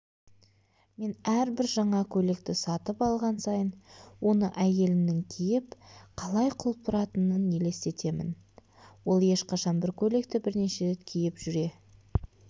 мен әрбір жаңа көйлекті сатып алған сайын оны әйелімнің киіп қалай құлпыратынын елестетемін ол ешқашан бір көйлекті бірнеше рет киіп жүре